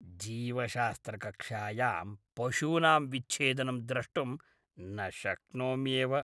जीवशास्त्रकक्षायां पशूनां विच्छेदनं द्रष्टुं न शक्नोम्येव।